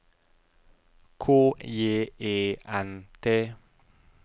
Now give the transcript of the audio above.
K J E N T